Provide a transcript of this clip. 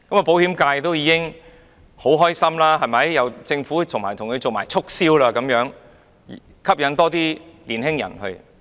保險界也十分開心，有政府替他們促銷，吸引更多年輕人購買自願醫保。